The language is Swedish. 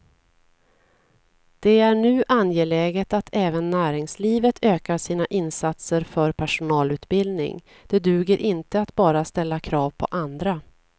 Det är nu angeläget att även näringslivet ökar sina insatser för personalutbildning, det duger inte att bara ställa krav på andra.